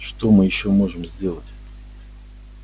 что мы ещё можем сделать